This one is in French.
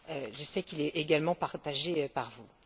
Je sais qu'il est également partagé par vous.